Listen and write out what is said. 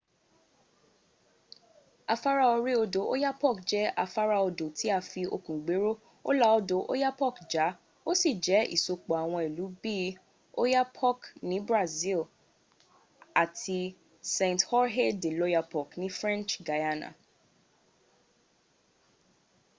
afara ori odo oyapock je afara odo ti a fi okun gbero o la odo oyapock ja o si je isopo awon ilu bi oiapoque ni brazil and saint-georges de l'oyapock ni french guiana